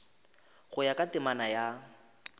go ya ka temana ya